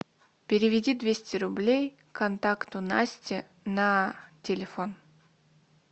переведи двести рублей контакту насте на телефон